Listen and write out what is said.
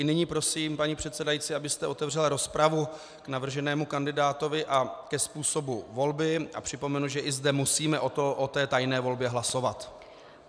I nyní prosím, paní předsedající, abyste otevřela rozpravu k navrženému kandidátovi a ke způsobu volby, a připomenu, že i zde musíme o té tajné volbě hlasovat.